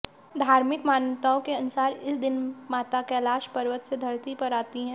धार्मिक मान्यताओं के अनुसार इस दिन माता कैलाश पर्वत से धरती पर आती हैं